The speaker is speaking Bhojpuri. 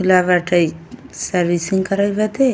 खूला बाटे। सर्विसिंग करत बाटे।